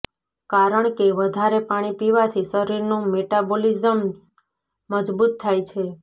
કારણકે વધારે પાણી પીવાથી શરીરનું મેટાબોલિજ્મ મજબૂત થાય છે